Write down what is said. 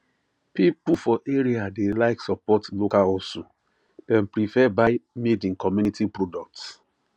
people for area dey like support local hustle dem prefer buy madeincommunity products